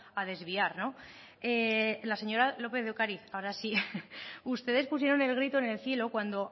a desviar no la señora lópez de ocariz ahora sí ustedes pusieron el grito en el cielo cuando